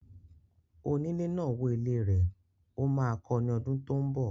Onílé náà wó ilé rẹ̀. Ó máa kọ ní ọdún tó ń bọ̀.